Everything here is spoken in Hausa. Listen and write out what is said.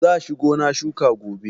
Za shi gona shuka gobe.